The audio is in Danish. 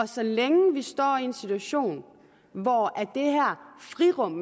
så længe vi står i en situation hvor det her frirum